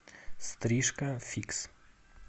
стрижка фикс